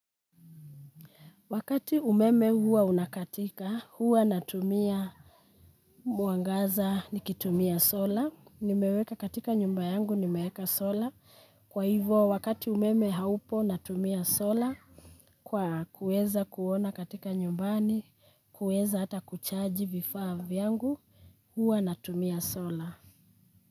Wakati umeme huwa unakatika, huwa natumia mwangaza, nikitumia sola, nimeweka katika nyumba yangu, nimeweka sola. Kwa hivyo, wakati umeme haupo natumia sola, kwa kueza kuona katika nyumbani, kueza hata kuchaji vifaa vyangu, huwa natumia sola.